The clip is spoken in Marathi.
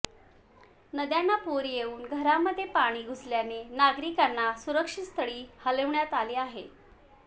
नद्यांना पूर येऊन घरांमध्ये पाणी घुसल्याने नागरिकांना सुरक्षितस्थळी हलविण्यात आले आहे